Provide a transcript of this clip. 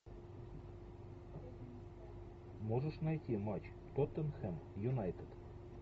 можешь найти матч тоттенхэм юнайтед